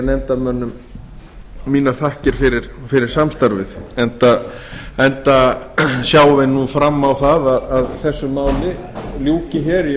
nefndarmönnum mínar þakkir fyrir samstarfið enda sjáum við nú fram á það að þessu máli ljúki í